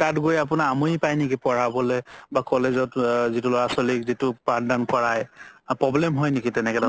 তাত গৈ আপুনাৰ আমনি পাই নেকি পঢ়াবলে বা college ত যিতো ল'ৰা ছোৱালিক যিতোক পাথ দান কৰাই problem হয় নেকি তেনেকে ধৰণৰ